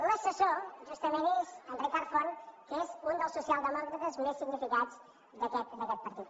l’assessor justament és en ricard font que és un dels socialdemòcrates més significats d’aquest partit